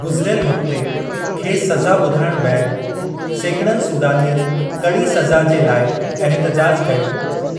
गुज़रियलु हफ़्ते खेसि सज़ा बुधायणु बैदि सैकड़नि सूडानियनि कड़ी सज़ा जे लाइ एहतिजाजु कयो,